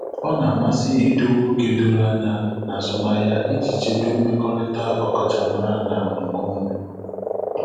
Ọ na-amasị idowe ókè doro anya n'azụmahịa iji chebe mmekọrịta ọkachamara na nke onwe.